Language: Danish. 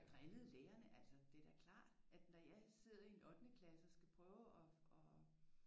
Og drillede lærerne altså det er da klart at når jeg sidder i en ottende klasse og skal prøve at